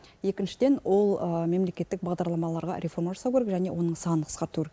екіншіден ол мемлекеттік бағдарламаларға реформа жасау керек және оның санын қысқарту керек